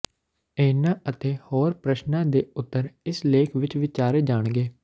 ਇਨ੍ਹਾਂ ਅਤੇ ਹੋਰ ਪ੍ਰਸ਼ਨਾਂ ਦੇ ਉੱਤਰ ਇਸ ਲੇਖ ਵਿੱਚ ਵਿਚਾਰੇ ਜਾਣਗੇ